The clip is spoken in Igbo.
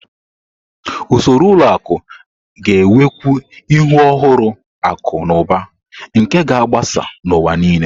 Usoro ụlọ akụ ga-enwekwu ihe ọhụrụ akụ na ụba nke ga-agbasa n'ụwa nile.